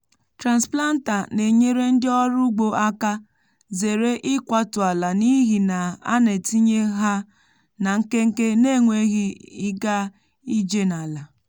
transplanter na-enyere ndị ọrụ ugbo aka zere ikwatu ala n’ihi na a na-etinye ha na nkenke n’enweghị ịga ije n’ala.